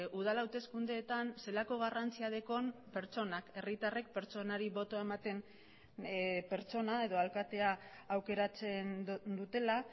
udal hauteskundeetan zelako garrantzia dekon pertsonak herritarrek pertsonari botoa ematen pertsona edo alkatea aukeratzen dutela